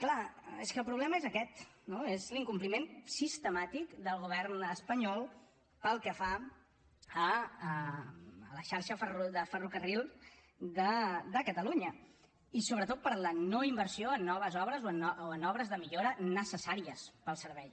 clar és que el problema és aquest no és l’incompliment sistemàtic del govern espanyol pel que fa a la xarxa de ferrocarril de catalunya i sobretot per la no inversió en noves obres o en obres de millora necessàries per al servei